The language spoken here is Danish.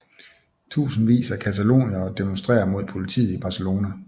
Tusindvis af cataloniere demonstrerer mod politiet i Barcelona